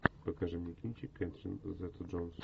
покажи мне кинчик кэтрин зета джонс